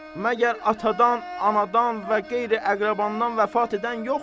Məgər atadan, anadan və qeyri-əqrəbadan vəfat edən yoxdur?